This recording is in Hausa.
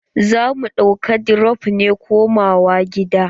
Za mu ɗauka dirop ne komawa gida.